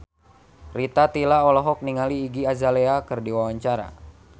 Rita Tila olohok ningali Iggy Azalea keur diwawancara